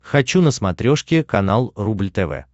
хочу на смотрешке канал рубль тв